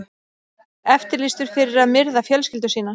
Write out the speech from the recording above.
Eftirlýstur fyrir að myrða fjölskyldu sína